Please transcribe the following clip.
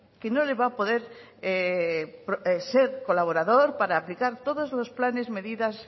que no le va a poder ser colaborados para aplicar todos los planes medidas